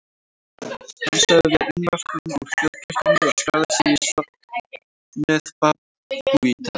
Menn sögðu sig unnvörpum úr þjóðkirkjunni og skráðu sig í söfnuð babúíta.